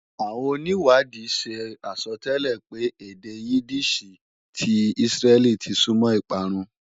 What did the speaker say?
Àwọn onìwádìí ṣe àsọtẹ́lẹ̀ pé èdè Yídíìṣì ti Ísírẹ́lì ti súnmọ́ ìparun